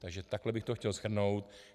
Takže takhle bych to chtěl shrnout.